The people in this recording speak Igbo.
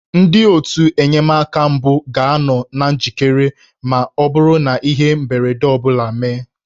Ndị otù enyemaka mbụ ga-anọ na njikere ma ọ bụrụ na ihe mberede ọ bụla emee